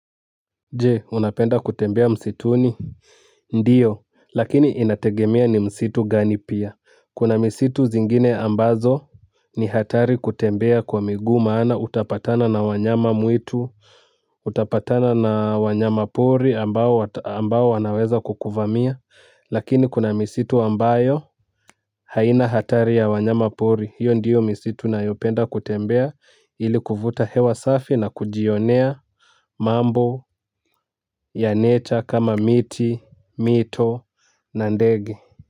Jee unapenda kutembea msituni ndiyo lakini inategemea ni msitu gani pia kuna misitu zingine ambazo ni hatari kutembea kwa miguu maana utapatana na wanyama mwitu utapatana na wanyama pori ambao wata ambao wanaweza kukuvamia lakini kuna misitu ambayo haina hatari ya wanyama pori hiyo ndiyo misitu nayopenda kutembea ili kuvuta hewa safi na kujionea mambo ya nature kama miti, mito na ndege.